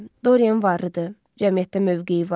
Doryan varlıdır, cəmiyyətdə mövqeyi var.